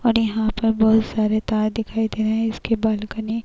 और यहाँ पर बहोत सारे तार दिखाई दे रहे हैं इसके बालकनी --